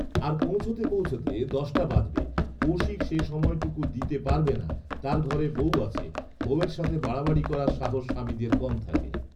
আর পৌঁছাতে পৌঁছাতে দশটা বাজবে, কৌশিক সে সময়টুকু দিতে পারবে না, তার ঘরে বৌ আছে, বৌএর সাথে বাড়াবাড়ি করার সাহস স্বামীদের কম থাকে